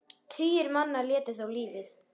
Tugir manna létu þá lífið.